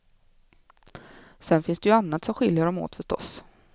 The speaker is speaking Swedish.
Sedan finns det ju annat som skiljer dem åt förstås.